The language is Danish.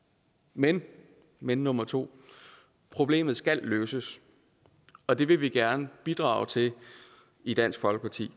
men men nummer to problemet skal løses og det vil vi gerne bidrage til i dansk folkeparti